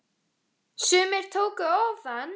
Sumir tóku ofan!